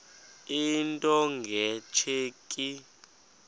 into nge tsheki